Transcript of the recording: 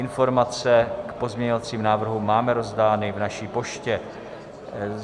Informace k pozměňovacím návrhům máme rozdány v naší poště.